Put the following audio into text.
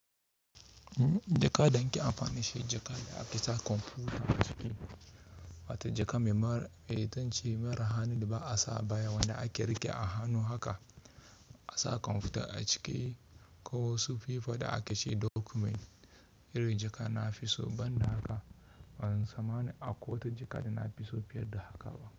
Jaka danaki amfani shi, jaka da ake sa komfuta acikin, Wata jaka mai mar, me itance mara hannun da ba a sa baya wanda ake riƙe a hannu haka, A sa komfuta a ciki, ko su fifa da ake ce dokument. Irin jakan na fi so ban da haka, bansanma akwai wata jaka da na fi so fiye da haka ba.